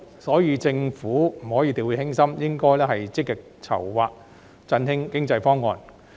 因此，政府絕不可掉以輕心，應該要積極籌劃振興經濟的方案。